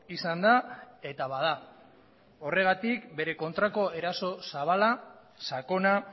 izan da eta bada horregatik bere kontrako eraso zabala sakona